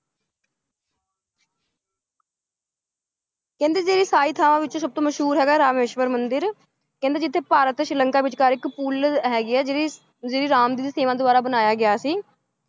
ਕਹਿੰਦੀ ਜੇੜੀ ਸਾਰੇ ਥਾਵਾਂ ਵਿਚ ਸਬਤੋ ਮਸ਼ਹੂਰ ਹੈਗਾ ਰਾਮੇਸ਼ਵਰ ਮੰਦਿਰ ਕਹਿੰਦੇ ਜਿਥੇ ਭਾਰਤ ਤੇ ਸ਼੍ਰੀ ਲੰਕਾ ਵਿਚ ਕਾ ਇੱਕ ਪੁੱਲ ਹੈਗੀ ਹੈ ਜੇੜੀ~ ਜੇੜੀ ਰਾਮ ਜੀ ਦਿ ਸੇਨਾ ਦੁਵਾਰਾ ਬਨਾਯਾ ਗਯਾ ਸੀ ।